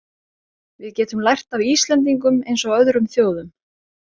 Við getum lært af Íslendingum eins og öðrum þjóðum.